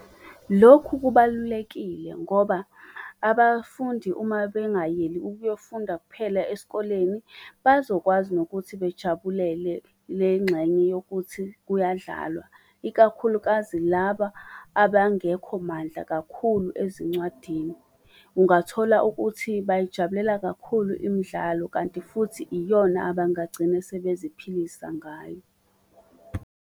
Lokhu kubalulekile ngoba abafundi uma bengayeli ukuyofunda kuphela esikoleni, bazokwazi nokuthi bejabulele le ngxenye yokuthi kuyadlalwa, ikakhulukazi laba abangekho mandla kakhulu ezincwadini. Ungathola ukuthi bayijabulela kakhulu imdlalo kanti futhi iyona abangagcine sebeziphilisa ngayo.